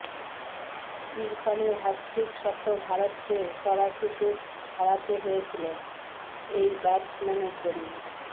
ইরফানের হ্যাটট্রিক সত্ত্বেও ভারতকে করাচি টেস্ট হারতে হয়েছিল এই ব্যাটসম্যানের জন্য